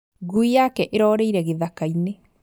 Ngui yake ĩrorĩire gĩthakainĩ